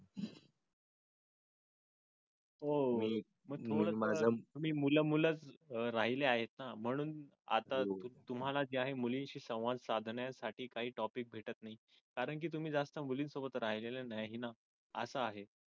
हो मी माझं मी मुला मुलात राहिले आहे म्हणून आता तुम्हाला जे आहे. मुलींशी संवाद साधण्यासाठी काही topic भेटत नाही कारण की तुम्ही जास्त मुलींसोबत राहिले नाही ना. अस आहे.